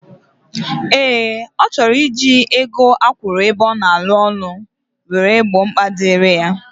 Ee, O choro iji ego akwuru ebe ona alu ulo were gbo mkpa diri ya.